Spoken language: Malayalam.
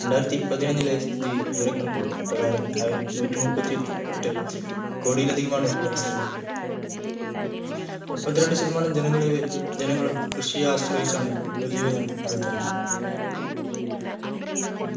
രണ്ടായിരത്തി പതിനൊന്നിലെ സ്ഥിതി വിവരക്കണക്കുകൾ പ്രകാരം നൂറ്റി മുപ്പത്തി എട്ട് കൊടിലധികമാണ് ജനസംഖ് മുപ്പത്തി രണ്ടു ശതമാനം ജനങ്ങളും കൃഷിയെ ആശ്രയിച്ചാണ് ഉപജീവനം നടത്തുന്നത്